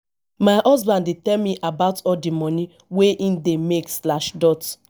my husband dey tell me about all di moni wey im dey make slash dot